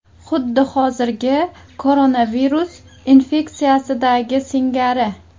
Xuddi hozirgi koronavirus infeksiyasidagi singari.